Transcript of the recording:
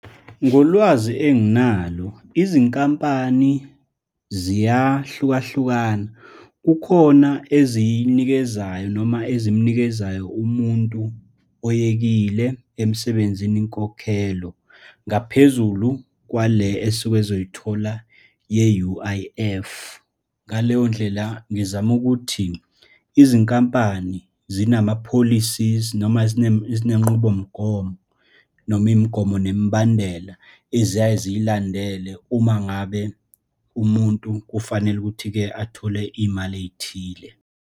Ngolwazi enginalo, izinkampani ziyahlukahlukana, kukhona eziyinikezayo noma ezimnikezayo umuntu oyekile emsebenzini inkokhelo, ngaphezulu kwale esuke ezoyithola ye-U_I_F. Ngaleyondlela ngizama ukuthi izinkampani zinama-policies noma zinenqubomgomo, noma imigomo nemibandela eziyaye ziyilandele uma ngabe umuntu kufanele ukuthi-ke athole iy'mali ey'thile.